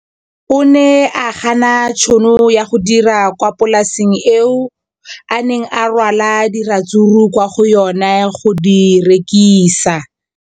O ne a gana tšhono ya go dira kwa polaseng eo a neng rwala diratsuru kwa go yona go di rekisa.